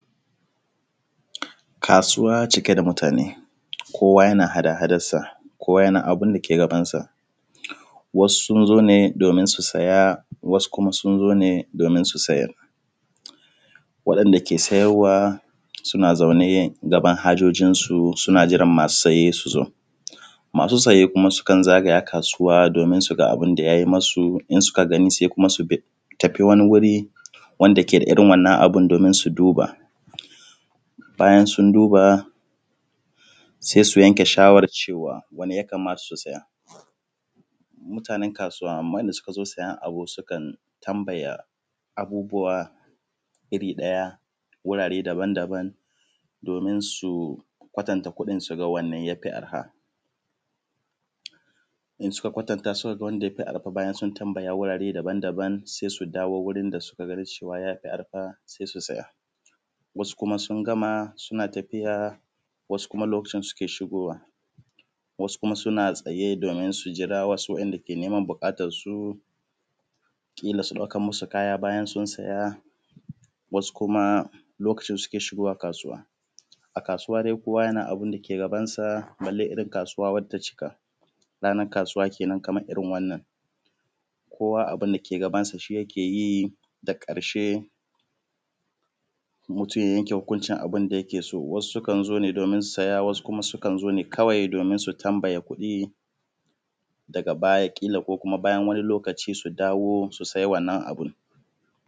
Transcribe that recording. Kasuwa cike da mutane kowa yana hada hadan sa kowa yana abun da ke gabansa. Wasu sun zo ne domin su siya wasu sun zo ne domin su sayar, waɗanda ke sayarwa suna zaune gaban hajojinsu suna jiran masu saye su zo, masu saye kuma sukan zagaya kasuwa domin suga abida ya yi masu in suka gani sai kuma bi, su tafi wani wuri wanɗa ke da irin wannan abun domin su duba. Bayan sun duba sai su yanke shawaran cewa wane ya kamata su saya? Mutane kasuwa wadanda suka zo siyan abu sukan tambaya abubuwa iri ɗaya wurare dabam dabam domin su kwatanta kuɗin suga wane yafi arha? In suka kwatantan suka ga wanda ya fi arha bayan sun tambaya wurare dabam dabam sai su dawo wurin suka gana yafi arha sai su saya. Wasu kuma sun gama suna tafiya, wasu kuma lokacin suke shigowa, wasu kuma suna tsaye domin su jira wa’inda ke neman buƙatansu kila su ɗaukan musu kaya bayan sun saya wasu kuma lokacin suke shigowa kasuwa. A kasuwa dai kowa yana abun da yike gabansa balle irin kasuwa wacce ta cika, rannan kasuwa kenen kaman irin wannan kowa abun dake gabansa shi yake yi daga ƙarshe mutum ya yanke hukuncin abinda yake so, wasu sukan zo ne domin saya wasu kuma suka zo ne kawai domin su tambaya kuɗi daga ba kila ko kuma bayan wani lokaci su dawo su sai wannan abun.